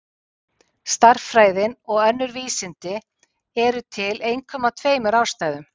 Stærðfræðin og önnur vísindi eru til einkum af tveimur ástæðum.